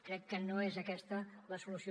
crec que no és aquesta la solució